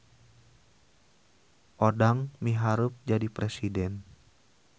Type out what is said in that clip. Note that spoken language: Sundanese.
Odang miharep jadi presiden